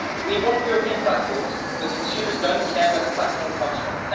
We want European platforms, but consumers do not care where the platform comes from.